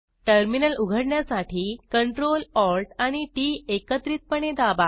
terminal उघडण्यासाठी Ctrl Alt आणि T T एकत्रितपणे दाबा